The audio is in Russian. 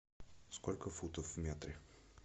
сколько футов в метре